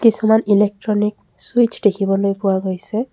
কিছুমান ইলেকট্ৰনিক চুইটচ দেখিবলৈ পোৱা গৈছে।